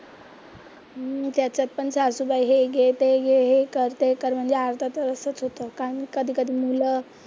हम्म त्याच्यात पण सासुबाई हे घे, ते घे, हे कर, ते कर म्हणजे अर्ध तर असंच होतं कारण कधी कधी मुलं,